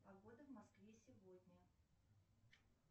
погода в москве сегодня